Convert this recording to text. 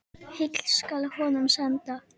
Heill skal honum senda.